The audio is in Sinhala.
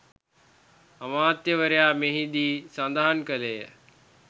අමාත්‍යවරයා මෙහිදී සඳහන් කළේය